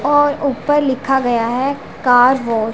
और ऊपर लिखा गया है कार वॉश --